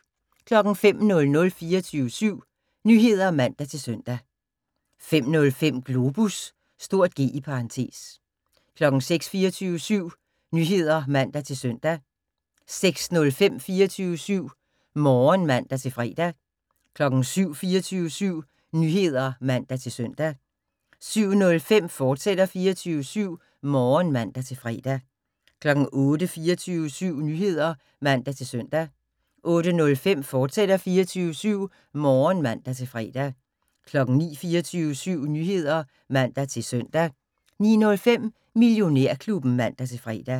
05:00: 24syv Nyheder (man-søn) 05:05: Globus (G) 06:00: 24syv Nyheder (man-søn) 06:05: 24syv Morgen (man-fre) 07:00: 24syv Nyheder (man-søn) 07:05: 24syv Morgen, fortsat (man-fre) 08:00: 24syv Nyheder (man-søn) 08:05: 24syv Morgen, fortsat (man-fre) 09:00: 24syv Nyheder (man-søn) 09:05: Millionærklubben (man-fre)